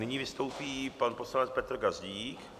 Nyní vystoupí pan poslanec Petr Gazdík.